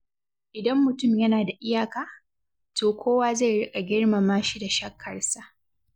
Idan mutum yana da iyaka, to kowa zai riƙa girmama shi da shakkarsa.